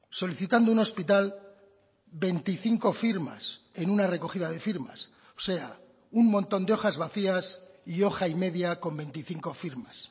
solicitando un hospital veinticinco firmas en una recogida de firmas o sea un montón de hojas vacías y hoja y media con veinticinco firmas